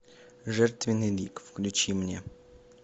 жертвенный лик включи мне